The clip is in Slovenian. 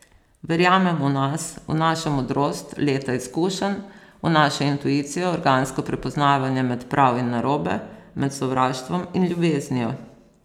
Verjamem v nas, v našo modrost, leta izkušenj, v našo intuicijo, organsko prepoznavanje med prav in narobe, med sovraštvom in ljubeznijo.